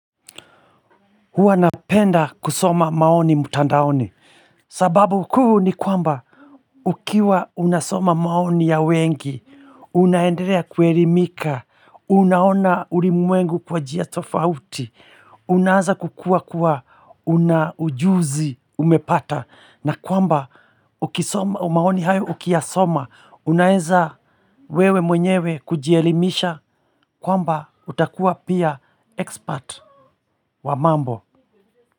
Hua napenda kusoma maoni mtandaoni, sababu kuu ni kwamba ukiwa unasoma maoni ya wengi, unaendelea kuelimika, unaona ulimwengu kwa njia tofauti, unaaza kukua kuwa una ujuzi umepata, na kwamba maoni hayo ukiyasoma, unaeza wewe mwenyewe kujielimisha kwamba utakuwa pia expert wa mambo.